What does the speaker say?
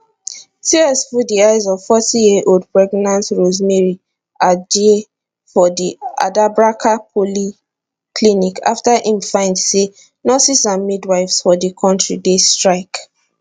tears full di eyes of fifty yearold pregnant rosemary adjei for di adabraka polyclinic afta im find say nurses and midwives for di kontri dey strike